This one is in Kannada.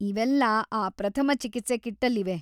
ಇವೆಲ್ಲಾ ಆ ಪ್ರಥಮ ಚಿಕಿತ್ಸೆ ಕಿಟ್ಟಲ್ಲಿವೆ.